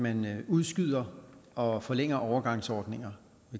man udskyder og forlænger overgangsordninger